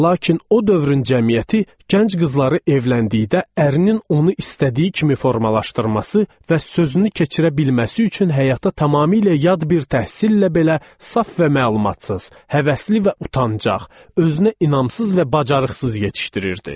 Lakin o dövrün cəmiyyəti gənc qızları evləndikdə ərinin onu istədiyi kimi formalaşdırması və sözünü keçirə bilməsi üçün həyata tamamilə yad bir təhsillə belə saf və məlumatsız, həvəsli və utancaq, özünə inamsız və bacarıqsız yetişdirirdi.